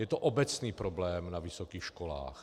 Je to obecný problém na vysokých školách.